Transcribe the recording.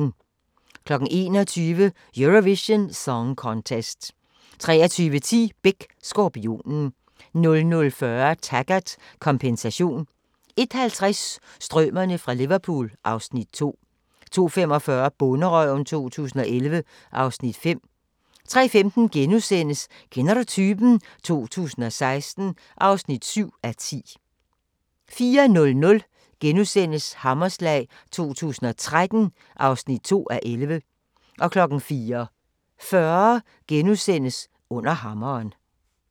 21:00: Eurovision Song Contest 23:10: Beck: Skorpionen 00:40: Taggart: Kompensation 01:50: Strømerne fra Liverpool (Afs. 2) 02:45: Bonderøven 2011 (Afs. 5) 03:15: Kender du typen? 2016 (7:10)* 04:00: Hammerslag 2013 (2:11)* 04:40: Under hammeren *